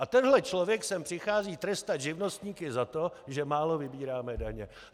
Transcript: A tenhle člověk sem přichází trestat živnostníky za to, že málo vybíráme daně.